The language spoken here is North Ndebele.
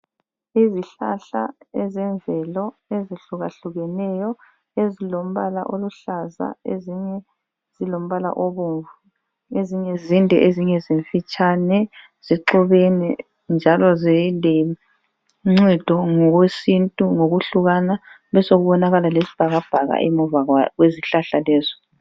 Izihlahla ezemvelo ezihlukahlukeneyo ezilombala oluhlaza ezinye zilombala obomvu ezinye zinde ezinye zimfitshane, zixubene njalo ziloncedo ngokwesintu ngokuhlukana kube sokubonakala lesibhakabhaka emuva kwezihlahla lezo.